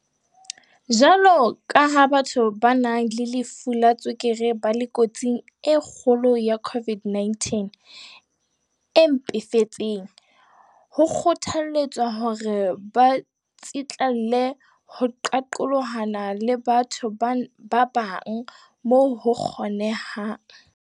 Jwaloka ha batho ba nang le lefu la tswekere ba le kotsing e kgolo ya COVID-19 e mpefetseng, ho kgothalletswa hore ba tsitlallele ho qaqolohana le batho ba bang moo ho kgonehang.